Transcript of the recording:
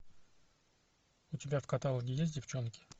у тебя в каталоге есть девчонки